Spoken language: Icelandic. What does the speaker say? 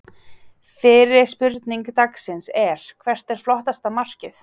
Fyrri spurning dagsins er: Hvert er flottasta markið?